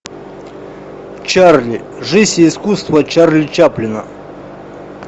чарли жизнь и искусство чарли чаплина